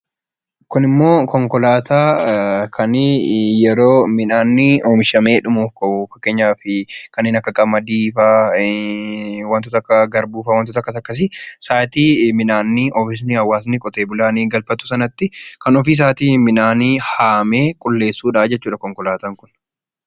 Kunimmoo konkolaataa kan yeroo midhaan oomishamee dhumuu ka'u fakkeenyaaf kanneen akka qamadii fa'a wantoota akka garbuu fa'a wantoota akkas akkasii sa'aatii oomishni hawaasni qotee bulaan galfatu sanatti kan ofii isaatii midhaan haamee qulleessudha jechuudha konkolaataan kun.